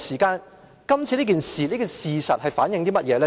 今次這件事反映出甚麼？